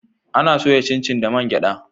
A na soya cincin da man gyada